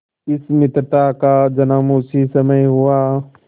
इस मित्रता का जन्म उसी समय हुआ